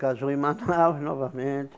Casou em Manaus novamente.